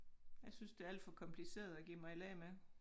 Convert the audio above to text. Jeg synes det alt for kompliceret at give mig i lag med